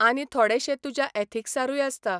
आनी थोडेशे तुज्या एथीक्सारूय आसता.